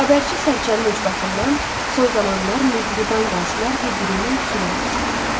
Xəbərçi sərçənin ucbatından son zamanlar mehriban qonşular bir-biriynən küsülü olmuşdular.